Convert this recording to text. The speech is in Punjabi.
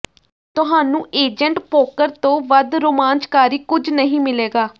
ਤੁਹਾਨੂੰ ਏਜੰਟ ਪੋਕਰ ਤੋਂ ਵੱਧ ਰੋਮਾਂਚਕਾਰੀ ਕੁਝ ਨਹੀਂ ਮਿਲੇਗਾ